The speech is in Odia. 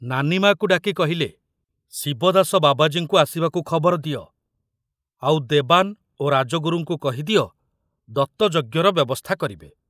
ନାନିମାକୁ ଡାକି କହିଲେ, ଶିବଦାସ ବାବାଜୀଙ୍କୁ ଆସିବାକୁ ଖବର ଦିଅ, ଆଉ ଦେବାନ ଓ ରାଜଗୁରୁଙ୍କୁ କହିଦିଅ ଦତ୍ତଯଜ୍ଞର ବ୍ୟବସ୍ଥା କରିବେ।